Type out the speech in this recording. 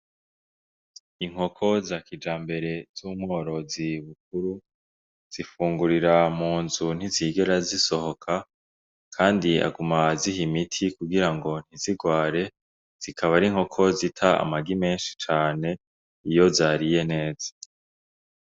Inkoko za kijambere z'umworozi Bukuru, zifungurira mu nzu ntizigera zisohoka kandi aguma aziha imiti kugira ngo ntizigware, zikaba ari inkoko zita amagi menshi cane iyo zariye neza.